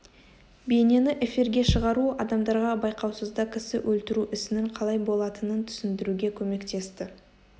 бейнені эфирге шығару адамдарға байқаусызда кісі өлтіру ісінің қалай болатынын түсіндіруге көмектесті